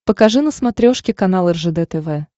покажи на смотрешке канал ржд тв